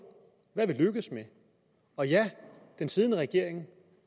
hvad vi er lykkedes med og ja den siddende regering